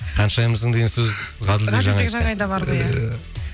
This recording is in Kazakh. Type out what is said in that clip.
ханшайымсың деген сөз ғаділбек жанайда бар ғой иә